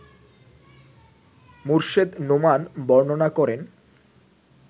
মোর্শেদ নোমান বর্ণনা করেন